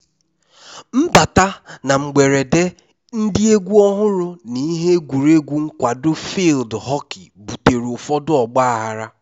mbata na mgberede ndị egwu ọhụrụ na ihe egwuregwu nkwado field hockey butere ụfọdụ ọgbaghara